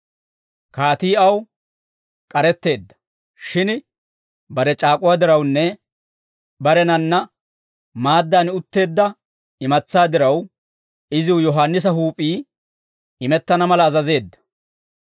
Kaatii aw k'aretteedda; shin bare c'aak'uwaa dirawunne barenanna maaddaan utteedda imatsaa diraw, iziw Yohaannisa huup'ii imettana mala azazeedda.